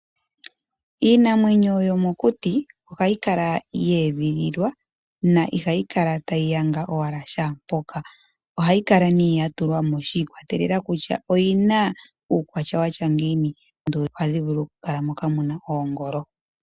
Iinamwenyo yomokuti ohayi kala ye edhililwa na ihayi kala owala tayi yanga shaa mpoka. Ohayi kala nee ya tulwa mo shi ikwatelela kutya oyi na uukwatya wa tya ngiini. Oonduli ohadhi vulu okukala moka mu na oongolo.